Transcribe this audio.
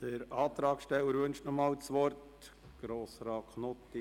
Der Antragsteller wünscht nochmals das Wort.